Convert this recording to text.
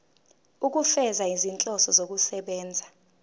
ukufeza izinhloso zokusebenzisa